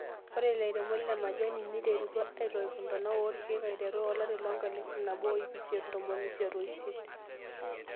Ore ilairemok lemajani neiterutua aitoip ntona orkiek aiteru olari lenkalifu nabo oiip isiet ontomoni isiet oisiet.